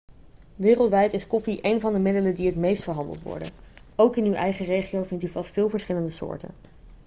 wereldwijd is koffie een van de middelen die het meest verhandeld worden ook in uw eigen regio vindt u vast veel verschillende soorten